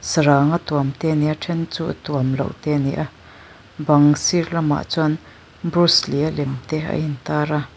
saranga tuam te ani a then chu tuamloh te ani a bang sir lamah chuan brucelee a lem te a intar a.